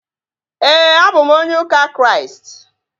Éè, a bụ m onye ụka Kraịst